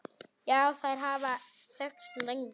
Já, þær hafa þekkst lengi.